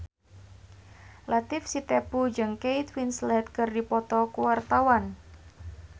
Latief Sitepu jeung Kate Winslet keur dipoto ku wartawan